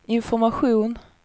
information